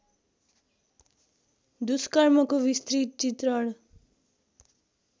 दुष्कर्मको विस्तृत चित्रण